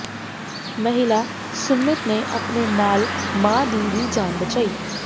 ਮਹਿਲਾ ਸੁਮੀਤ ਨੇ ਆਪਣੇ ਨਾਲ ਮਾਂ ਦੀ ਵੀ ਜਾਨ ਬਚਾਈ